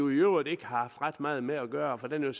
øvrigt ikke har haft ret meget med at gøre for den